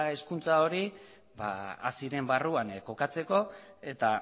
hezkuntza hori haziren barruan kokatzeko eta